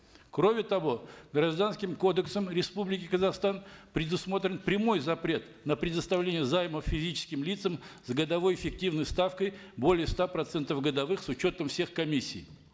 кроме того гражданским кодексом республики казахстан предусмотрен прямой запрет на предоставление займов физическим лицам с годовой эффективной ставкой более ста процентов годовых с учетом всех комиссий